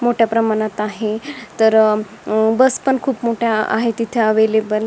मोठ्या प्रमाणात आहे तर बस पण खूप मोठ्या आहेत तिथे एवलेबल .